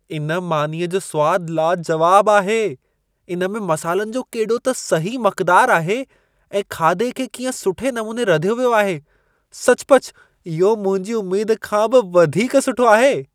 इन मानीअ जो सुवाद लाजुवाबु आहे। इन में मसालनि जो केॾो त सही मक़दार आहे ऐं खाधे खे कीअं सुठे नमूने रधियो वियो आहे। सचुपचु इहो मुंहिंजी उमेद खां बि वधीक सुठो आहे।